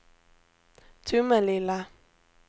Tomelilla